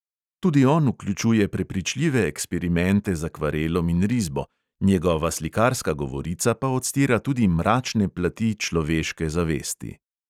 Tudi on vključuje prepričljive eksperimente z akvarelom in risbo, njegova slikarska govorica pa odstira tudi mračne plati človeške zavesti.